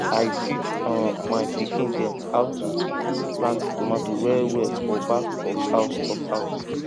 i teach um my pikin dem how to plant tomato wellwell for back of house of house